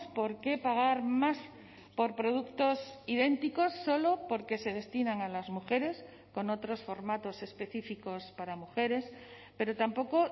por qué pagar más por productos idénticos solo porque se destinan a las mujeres con otros formatos específicos para mujeres pero tampoco